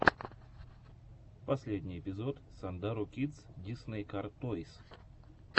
последний эпизод сандару кидс дисней кар тойс